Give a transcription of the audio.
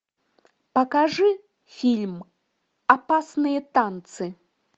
покажи фильм опасные танцы